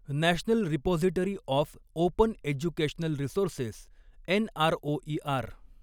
national repository of open educational resources NROER